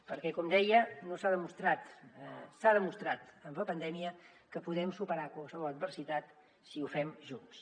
perquè com deia s’ha demostrat amb la pandèmia que podem superar qualsevol adversitat si ho fem junts